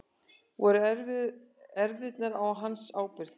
Voru erfðirnar á hans ábyrgð?